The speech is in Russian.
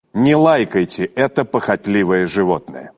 не лайкайте это похотливое животное